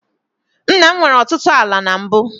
Nna m nwere ọtụtụ ala na mbụ.